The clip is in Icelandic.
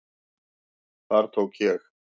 Þar tók ég